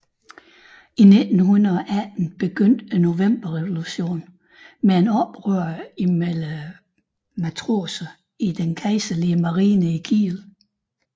I 1918 begyndte novemberrevolutionen med et oprør blandt matroserne i den kejserlige marine i Kiel